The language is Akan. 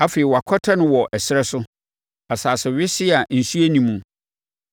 Afei wɔakɔtɛ no wɔ ɛserɛ so asase wesee a nsuo nni muo.